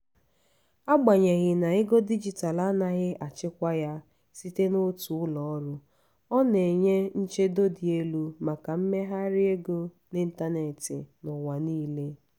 agbanyeghi na ego dijitalụ anaghị achịkwa ya site n'otu ụlọọrụ ọ na-enye nchedo dị elu maka mmegharị ego n'ịntanetị n'ụwa niile.